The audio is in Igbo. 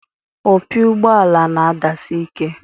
Opi ụgbọala na-adasi ike.